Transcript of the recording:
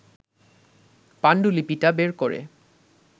পাণ্ডুলিপিটা বের করে